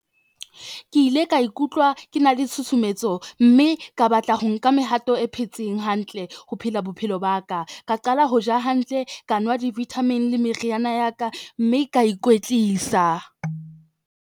Ke ile ka ikutlwa ke na le tshusumetso mme ka batla ho nka mehato e phetseng hantle ho phela bophelo ba ka. Ka qala ho ja hantle, ka nwa di-vitamin le meriana ya ka, mme ka ikwetlisa.